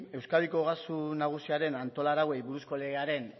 euskadiko ogasun nagusiaren antolarauei buruzko legearen